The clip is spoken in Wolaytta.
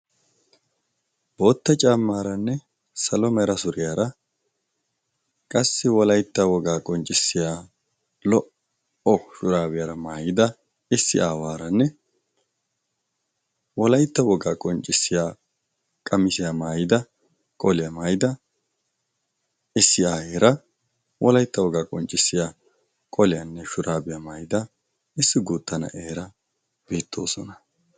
Bootta camaaranne salomeera suriyaara qassi wolaitta wogaa qonccissiya lo"o shuraabiyaara maayida issi aawaaranne wolaitta wogaa qonccissiya qamisiyaa maayida qoliyaa maayida issi aayera wolaitta wogaa qonccissiya qoliyaanne shuraabiyaa maayida issi guutta na'eera biittoosona.